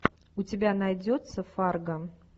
у тебя найдется фаргон